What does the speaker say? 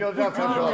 Çox gözəl, afərin.